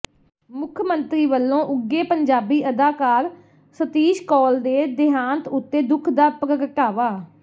ਮੁੱਖ ਮੰਤਰੀ ਵੱਲੋਂ ਉੱਘੇ ਪੰਜਾਬੀ ਅਦਾਕਾਰ ਸਤੀਸ਼ ਕੌਲ ਦੇ ਦੇਹਾਂਤ ਉਤੇ ਦੁੱਖ ਦਾ ਪ੍ਰਗਟਾਵਾ